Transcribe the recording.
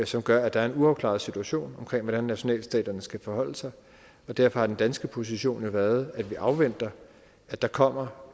som gør at der er en uafklaret situation om hvordan nationalstaterne skal forholde sig og derfor har danske position jo været at vi afventer at der kommer